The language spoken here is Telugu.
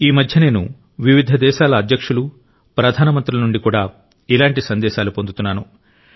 ఈ మధ్య నేను వివిధ దేశాల అధ్యక్షులు ప్రధానమంత్రుల నుండి కూడా ఇలాంటి సందేశాలను పొందుతున్నాను